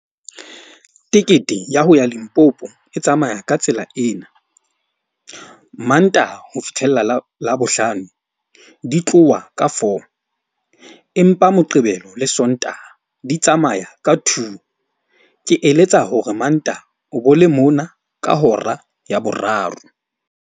Tekete ya ho ya Limpopo e tsamaya ka tsela ena. Mantaha ho fitlhella Labohlano, di tloha ka four, empa Moqebelo le Sontaha di tsamaya ka two. Ke eletsa hore Mantaha o bo le mona ka hora ya boraro.